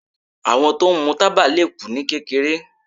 Àwọn tó ń mú tábà le kú ní kékeré.